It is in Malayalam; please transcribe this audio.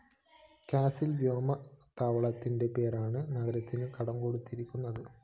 കാസില്‍ വ്യോമ താവളത്തിന്റെ പേരാണ് നഗരത്തിന് കടംകൊണ്ടിരിക്കുന്നത്